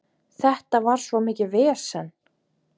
Þetta var svo mikið vesen.